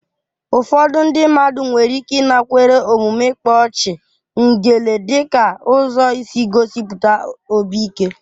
Ụfọdụ ndị mmadụ nwere ike ịnakwere omume ịkpa ọchị/ngele dị ka ụzọ isi gosipụta obi ike.